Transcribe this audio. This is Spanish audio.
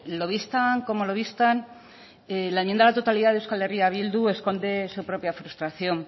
lo vistan como lo vistan la enmienda a la totalidad de euskal herria bildu esconde su propia frustración